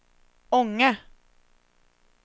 Ånge